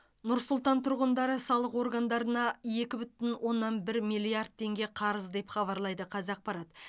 нұр сұлтан тұрғындары салық органдарына екі бүтін оннан бір миллиард теңге қарыз деп хабарлайды қазақпарат